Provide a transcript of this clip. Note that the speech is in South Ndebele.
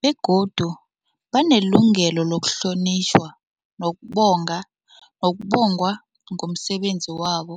begodu banelungelo lokuhlonitjhwa nokubongwa ngomsebenzi wabo.